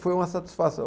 Foi uma satisfação.